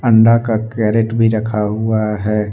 अंडा का कैरेट भी रखा हुआ है।